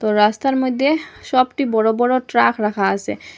রাস্তার মইদ্যে সবটি বড় বড় ট্রাক রাখা আসে।